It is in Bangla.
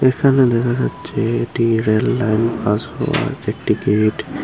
এখানে দেখা যাচ্ছে এটি রেললাইন একটি গেট ।